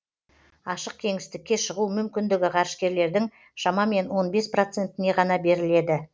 ашық кеңістікке шығу мүмкіндігі ғарышкерлердің шамамен он бес процентіне ғана беріледі